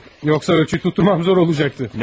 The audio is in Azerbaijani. Yoxsa ölçü almağım çətin olacaqdı.